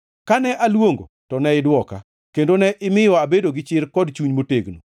Kane aluongo to ne idwoka, kendo ne imiyo abedo gi chir kod chuny motegno.